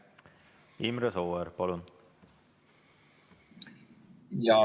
Imre Sooäär, palun!